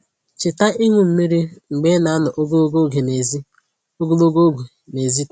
Cheta ịṅu mmiri mgbe ị na-anọ ogologo oge n'èzí ogologo oge n'èzí taa